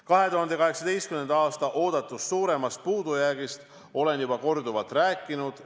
2018. aasta oodatust suuremast puudujäägist olen juba korduvalt rääkinud.